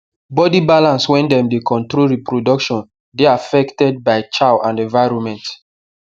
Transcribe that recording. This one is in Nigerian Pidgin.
body balance wey dem dey control reproduction dey affected by chow and environment